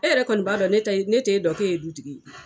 E yɛrɛ kɔni b'a dɔn ne te dɔn k'e ye dutigi ye.